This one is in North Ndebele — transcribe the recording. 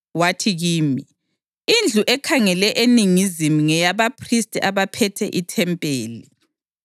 Wathi kimi, “Indlu ekhangele eningizimu ngeyabaphristi abaphethe ithempeli,